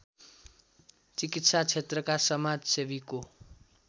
चिकित्सा क्षेत्रका समाजसेवीको